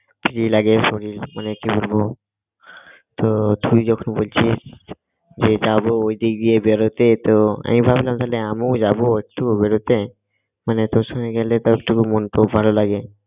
free লাগে শরীর মানে কি বলবো তো তুই যখন বলছিস যে যাব ওই দিক দিয়ে বেরোতে তো আমি ভাবলাম তবে আমিও যাবো একটু বেরোতে মানে তোর সঙ্গে গেলে তাও একটু মন খুব ভালো লাগে